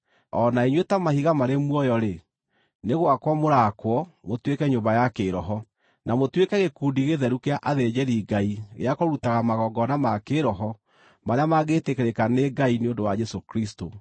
o na inyuĩ, ta mahiga marĩ muoyo-rĩ, nĩ gwakwo mũraakwo mũtuĩke nyũmba ya kĩĩroho, na mũtuĩke gĩkundi gĩtheru kĩa athĩnjĩri-Ngai gĩa kũrutaga magongona ma kĩĩroho marĩa mangĩtĩkĩrĩka nĩ Ngai nĩ ũndũ wa Jesũ Kristũ.